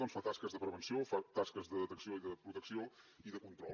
doncs fa tasques de prevenció fa tasques de detecció i de protecció i de control